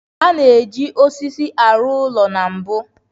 A na-eji osisi arụ ụlọ na mbu.